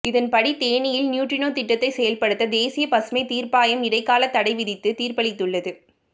இதன்படி தேனியில் நியூட்ரினோ திட்டத்தை செயல்படுத்த தேசிய பசுமைத் தீர்ப்பாயம் இடைக்காலத் தடை விதித்து தீர்ப்பளித்துள்ளது